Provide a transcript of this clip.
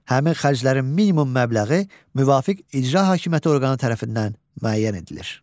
Həmin xərclərin minimum məbləği müvafiq icra hakimiyyəti orqanı tərəfindən müəyyən edilir.